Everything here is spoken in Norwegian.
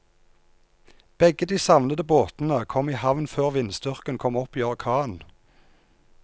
Begge de savnede båtene kom i havn før vindstyrken kom opp i orkan.